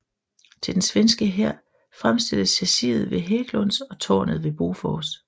Til den svenske hær fremstilles chassiset ved Hägglunds og tårnet ved Bofors